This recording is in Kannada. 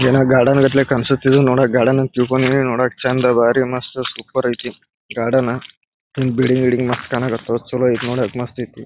ಎನೊ ಗಾರ್ಡನ್ ಗಪ್ಲೆ ಕಣ್ಸತ್ ಇದು ನೋಡಕೆ ಗಾರ್ಡನ್ ಅಂತ ತಿಳ್ಕೊಂಡಿನಿ ನೋಡಕ್ ಚಂದ ಬಾರಿ ಮಸ್ತ್ ಮಸ್ತ್ ಸೂಪರ್ ಐತಿ ಗಾರ್ಡನ್ ಈ ಬಿಲ್ಡಿಂಗ್ ಗಿಲ್ಡಿನ್ಗ್ ಮಸ್ತ್ ಚೆನ್ನಾಗೈತೆ ಚಲೋ ಐತಿ ನೋಡಕೆ ಮಸ್ತ್ ಐತಿ.